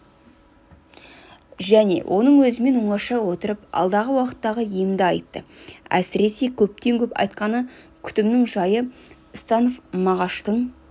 және оның өзімен оңаша отырып алдағы уақыттағы емді айтты әсіресе көптен-көп айтқаны күтімнің жайы станов мағаштың